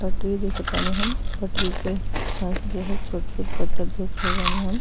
पटरी देखत बानी हम। पटरी के पास जो है छोट छोट पत्थर देख रहल बानी हम।